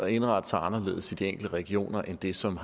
indrette sig anderledes i de enkelte regioner end det som